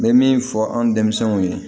N bɛ min fɔ anw denmɛnw ye